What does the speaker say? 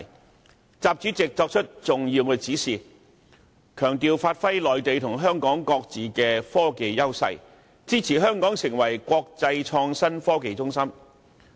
其後，習主席作出重要指示，強調要發揮內地及香港各自的科技優勢，並表示支持香港成為國際創新科技中心。